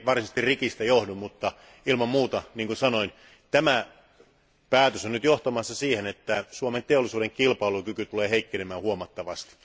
Se nyt ei varsinaisesti rikistä johdu, mutta ilman muuta tämä päätös on johtamassa siihen, että Suomen teollisuuden kilpailukyky tulee heikkenemään huomattavasti.